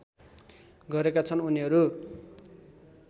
गरेका छन् उनीहरू